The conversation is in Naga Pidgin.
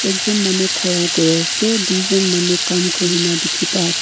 ekjun manu khara kuriase tujon manu kam kurina dikhipaase--